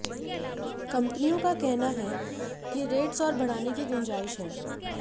कंपनियों का कहना है कि रेट्स और बढ़ाने की गुंजाइश है